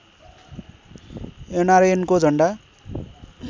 एनआरएनको झन्डा